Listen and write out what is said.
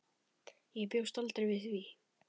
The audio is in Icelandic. Ég bjóst aldrei við því.